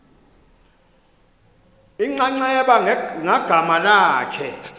inxaxheba ngagama lakhe